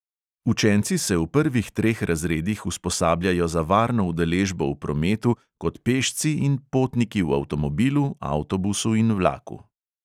Učenci se v prvih treh razredih usposabljajo za varno udeležbo v prometu kot pešci in potniki v avtomobilu, avtobusu in vlaku.